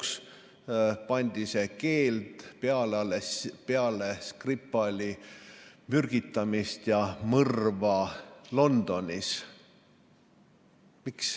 See keeld pandi lõpuks peale alles pärast Skripali mürgitamist ja mõrva Londonis.